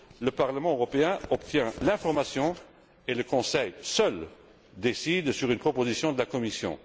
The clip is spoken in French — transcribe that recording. Le Parlement européen obtient l'information et le Conseil, seul, décide sur une proposition de la Commission.